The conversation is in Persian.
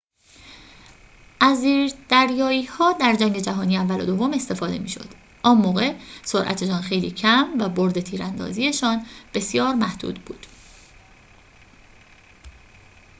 از زیردریایی‌ها در جنگ جهانی اول و دوم استفاده می‌شد آن موقع سرعتشان خیلی کم و بُرد تیراندازی‌شان بسیار محدود بود